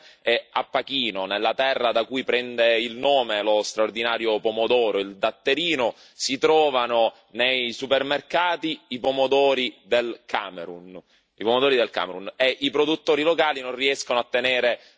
Mi sono trovato la settimana scorsa in Sicilia, la mia regione, e a Pachino, nella terra da cui prende il nome lo straordinario pomodoro, il datterino, si trovano nei supermercati i pomodori dal Camerun.